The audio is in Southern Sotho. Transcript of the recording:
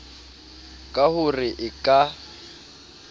ka ho re e ka